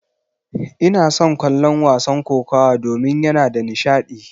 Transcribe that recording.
Ina son kallon wasan kokawa domin yana da nishadi.